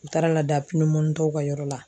U taar'a lada tɔw ka yɔrɔ la.